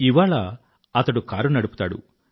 ఇవాళ అతడు కారు నడుపుతాడు